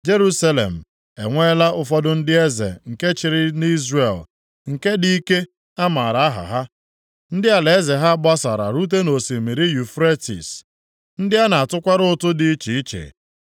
Jerusalem e nweela ụfọdụ ndị eze nke chịrị nʼIzrel, ndị dị ike a maara aha ha, ndị alaeze ha gbasara rute nʼosimiri Yufretis, ndị a na-atụkwara ụtụ dị iche iche.